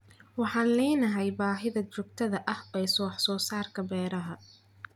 Waxaan leenahay baahida joogtada ah ee wax soo saarka beeraha.